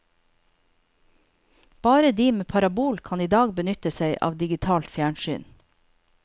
Bare de med parabol kan i dag benytte seg av digitalt fjernsyn.